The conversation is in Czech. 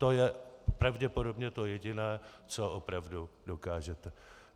To je pravděpodobně to jediné, co opravdu dokážete.